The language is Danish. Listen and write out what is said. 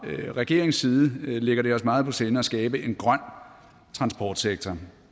regeringens side lægger det os meget på sinde at skabe en grøn transportsektor